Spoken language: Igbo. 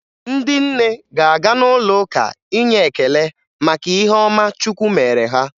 Ndị nne ga-aga n'ụlọụka inye ekele maka ihe ọma chukwu mere ha.